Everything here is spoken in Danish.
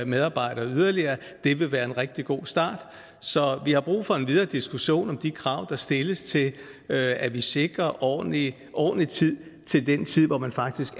medarbejdere yderligere det vil være en rigtig god start så vi har brug for en videre diskussion om de krav der stilles til at vi sikrer ordentlig ordentlig tid til den tid hvor man faktisk